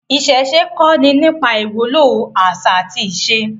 Àwọn aṣa kọni àwọn ìwúlò ati awọn aṣa.